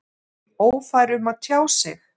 Ófær um að tjá sig?